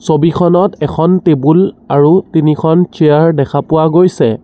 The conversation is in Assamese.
ছবিখনত এখন টেবুল আৰু তিনিখন চেয়াৰ দেখা পোৱা গৈছে।